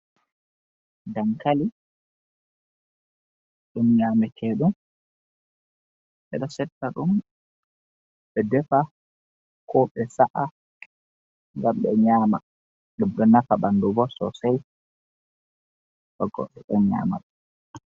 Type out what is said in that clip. Dankali ɗum nyamata ɗum ɓeɗo setta ɗum, ɓe defa ko ɓe sa’a ngam ɓe nyama, ɗum ɗo nafa ɓanɗu bo sosai bo go ɓeɗon nyama ɗum.